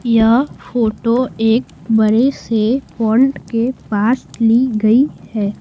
यह फोटो एक बड़े से फोंट के पास ली गई है।